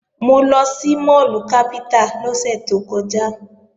Mo lọ sí máàlù Capital lọ́sẹ̀ tó kọjá